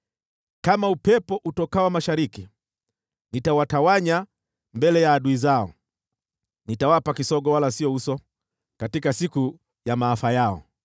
Kama upepo utokao mashariki, nitawatawanya mbele ya adui zao; nitawapa kisogo wala sio uso, katika siku ya maafa yao.”